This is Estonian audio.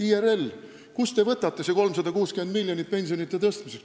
IRL, kust te võtate selle 360 miljonit pensionide tõstmiseks?